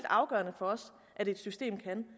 afgørende for os at det system kan